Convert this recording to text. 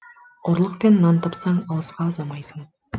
ұрлықпен нан тапсаң алысқа ұзамайсың